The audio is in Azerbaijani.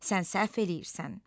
sən səhv eləyirsən.